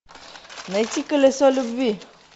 найти колесо любви